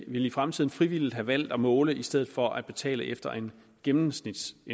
i fremtiden frivilligt have valgt at måle i stedet for at betale efter en gennemsnitssats